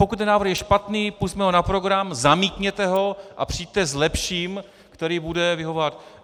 Pokud ten návrh je špatný, pusťme ho na program, zamítněte ho a přijďte s lepším, který bude vyhovovat.